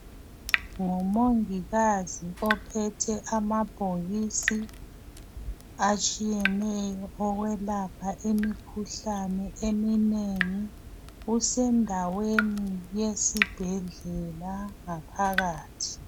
Ngumongikazi ophethe amabhokisi atshiyeneyo okwelapha imikhuhlane eminengi kusendaweni yesibhedlela ngaphakathi.